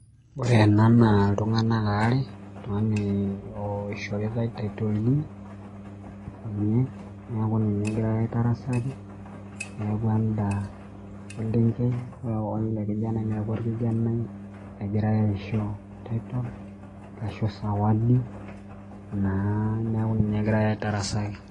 Ore ena na ltunganak aare oltunganak ishoritae tittle deed neaku ninye egirai aitarasaki adolita eselenkei orkijanai neaku ninye adolita egirai aisho sawadi naa neaku ninye egirai aitarasaki